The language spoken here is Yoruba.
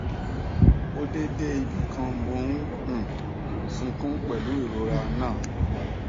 ó dé dé ibì kan mò ń um sunkún pẹlú ìrora náà